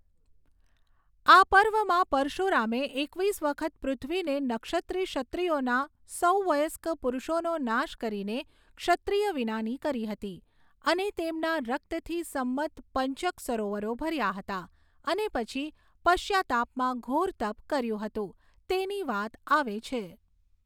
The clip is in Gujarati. આ પર્વમાં પરશુરામે એકવીસ વખત પૃથ્વીને નક્ષત્રી ક્ષત્રિયોના સૌ વયસ્ક પુરુષોનો નાશ કરીને ક્ષત્રિય વિનાની કરી હતી અને તેમના રક્તથી સમંત પઞ્ચક સરોવરો ભર્યા હતા અને પછી પશ્ચાતાપમાં ઘોર તપ કર્યું હતું તેની વાત આવે છે.